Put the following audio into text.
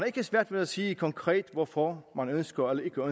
ikke svært ved at sige konkret hvorfor man ønsker eller